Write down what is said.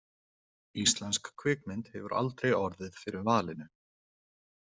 Íslensk kvikmynd hefur aldrei orðið fyrir valinu.